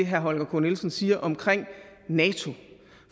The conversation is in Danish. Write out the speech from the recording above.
herre holger k nielsen siger omkring nato